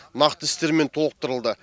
нақты істермен толықтырылды